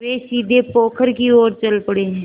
वे सीधे पोखर की ओर चल पड़े